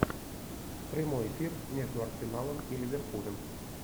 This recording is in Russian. прямой эфир между арсеналом и ливерпулем